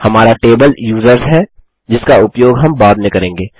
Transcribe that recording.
हमारा table users है जिसका उपयोग हम बाद में करेंगे